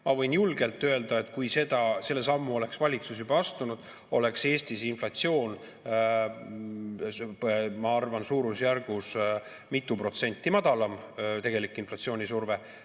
Ma võin julgelt öelda, et kui selle sammu oleks valitsus juba astunud, oleks Eestis inflatsioon, ma arvan, suurusjärgus mitu protsenti madalam, või tegelik inflatsioonisurve.